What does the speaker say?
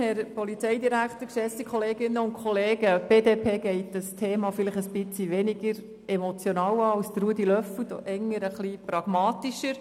Die BDPFraktion geht das Thema etwas weniger emotional an als Grossrat Löffel-Wenger.